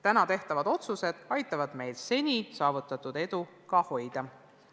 Täna tehtavad otsused aitavad meil seni saavutatud edu ka hoida.